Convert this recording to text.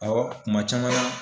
Awɔ kuma caman na